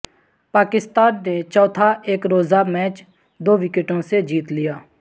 پاکستان نے چوتھا ایک روزہ میچ دو وکٹوں سے جیت لیا